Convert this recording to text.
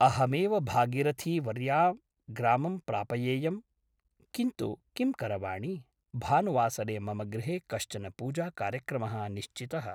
अहमेव भागीरथीवर्या ग्रामं प्रापयेयम् । किन्तु किं करवाणि भानुवासरे मम गृहे कश्चन पूजाकार्यक्रमः निश्चितः ।